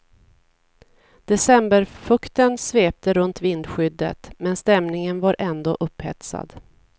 Decemberfukten svepte runt vindskyddet, men stämningen var ändå upphetsad.